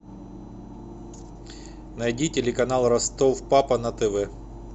найди телеканал ростов папа на тв